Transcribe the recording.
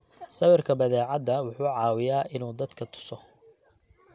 Sawirka badeecada wuxuu caawiyaa inuu dadka tuso.